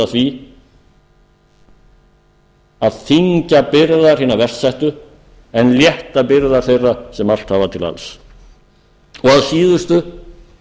því að þyngja byrðar hinna verst settu en létta byrðar þeirra sem allt hafa til alls að síðustu